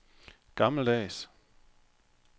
gammeldags